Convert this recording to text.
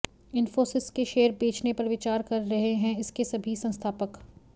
इन्फोसिस के शेयर बेचने पर विचार कर रहे हैं इसके सभी संस्थापक